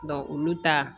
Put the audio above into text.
olu ta